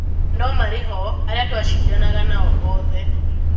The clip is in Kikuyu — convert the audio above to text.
No-marĩho, arĩa tũacindanaga nao othe."